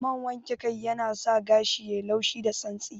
Man wanke kan yanasa gashi yayi laushi da santsi